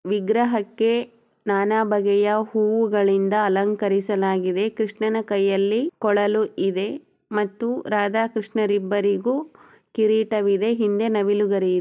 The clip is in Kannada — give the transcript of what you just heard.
ವಿಗ್ರಹಗಳಿಗೂ ನಾನಾ ಬಗ್ಗೆಯಿಂದ ಅಲಂಕರಿಸಲಾಗಿದೆ ಮತ್ತು ಕೃಷ್ಣನ ಕೈಯಲ್ಲಿ ಕೊಡಲಿದೆ ರಾಧಾಕೃಷ್ಣ ಇಬ್ಬರಿಗೂ ಕಿರೀಟವಿದೆ ಮೇಲೆ ನವಿಲುಗರಿ--